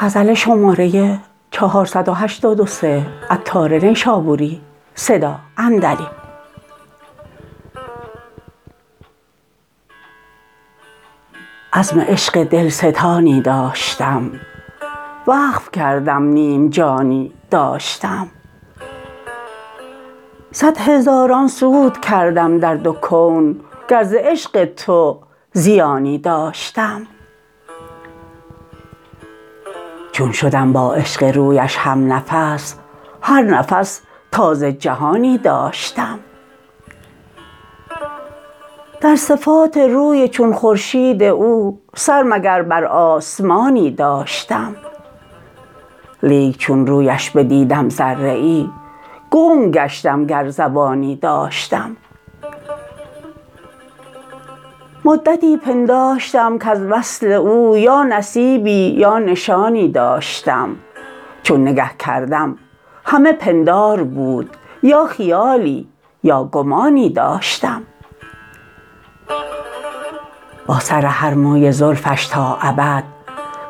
عزم عشق دلستانی داشتم وقف کردم نیم جانی داشتم صد هزاران سود کردم در دو کون گر ز عشق تو زیانی داشتم چون شدم با عشق رویش همنفس هر نفس تازه جهانی داشتم در صفات روی چون خورشید او سر مگر بر آسمانی داشتم لیک چون رویش بدیدم ذره ای گنگ گشتم گر زبانی داشتم مدتی پنداشتم کز وصل او یا نصیبی یا نشانی داشتم چون نگه کردم همه پندار بود یا خیالی یا گمانی داشتم با سر هر موی زلفش تا ابد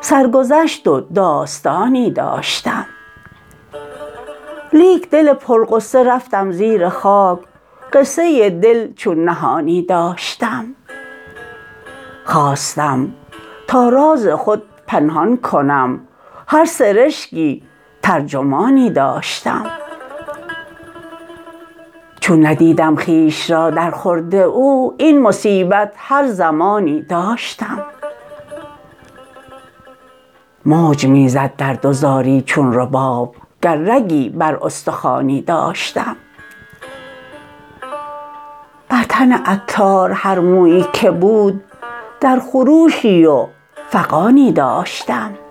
سرگذشت و داستانی داشتم لیک دل پرغصه رفتم زیر خاک قصه دل چون نهانی داشتم خواستم تا راز خود پنهان کنم هر سرشکی ترجمانی داشتم چون ندیدم خویش را در خورد او این مصیبت هر زمانی داشتم موج می زد درد و زاری چون رباب گر رگی بر استخوانی داشتم بر تن عطار هر مویی که بود در خروشی و فغانی داشتم